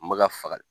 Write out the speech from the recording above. N bɛ ka faga